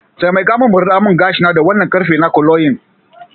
Taimaka min murdemingashina da wannan ƙarfen na curlying.